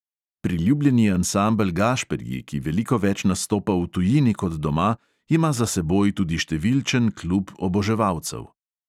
Priljubljeni ansambel gašperji, ki veliko več nastopa v tujini kot doma, ima za seboj tudi številčen klub oboževalcev.